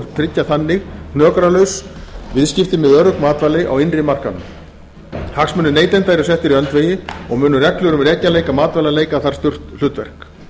tryggja þannig hnökralaus viðskipti með örugg matvæli á innri markaðnum hagsmunir neytenda eru settir í öndvegi og munu reglur um rekjanleika matvæla leika þar stórt hlutverk